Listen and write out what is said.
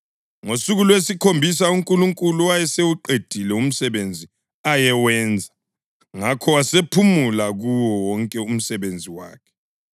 Ngosuku lwesikhombisa uNkulunkulu wayesewuqedile umsebenzi ayewenza; ngakho wasephumula kuwo wonke umsebenzi wakhe.